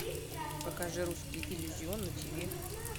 покажи русский иллюзион на тв